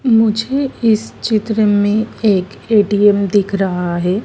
मुझे इस चित्र में एक ए_टी_एम दिख रहा है।